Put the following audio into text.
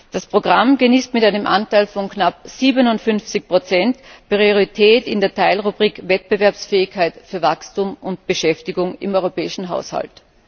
Das Programm genießt mit einem Anteil von knapp 57 Priorität in der Teilrubrik Wettbewerbsfähigkeit für Wachstum und Beschäftigung im europäischen Haushalt.